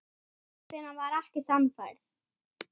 Hún getur ekki ráðið því.